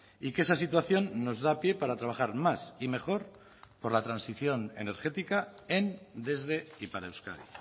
y que esa situación nos da pie para trabajar más y mejor por la transición energética en desde y para euskadi